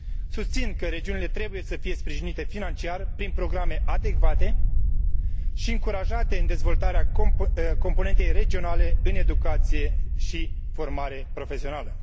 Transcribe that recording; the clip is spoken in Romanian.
Susțin că regiunile trebuie să fie sprijinite financiar prin programe adecvate și încurajate în dezvoltarea componentei regionale în educație și formare profesională.